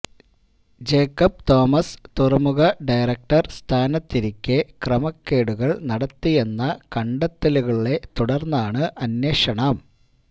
Jacob Thomas തുറമുഖ director സ്ഥാനത്തിരിക്കെ ക്രമക്കേടുകള് നടത്തിയെന്ന കണ്ടെത്തലുകളെ തുടർന്നാണ് അന്വേഷണം